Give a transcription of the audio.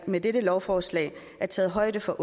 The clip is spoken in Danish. med dette lovforslag er taget højde for